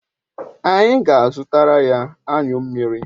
Anyi ga azutaraya anyu mmiri